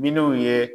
Minnu ye